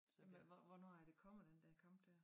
Så hvor hvornår er det kommer den dér kamp dér